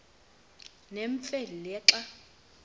nemfe le xa